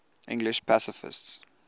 english pacifists